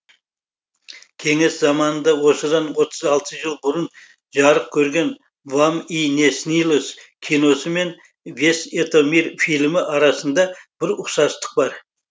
кеңес заманында осыдан отыз алты жыл бұрын жарық көрген вам и не снилось киносы мен весь это мир фильмі арасында бір ұқсастық бар